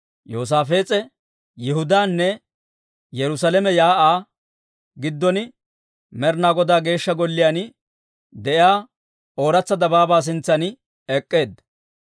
Yoosaafees'e Yihudaanne Yerusaalame shiik'uwaa giddon, Med'inaa Godaa Geeshsha Golliyaan de'iyaa Ooratsa Dabaabaa sintsan ek'k'eedda.